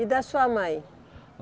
E da sua mãe?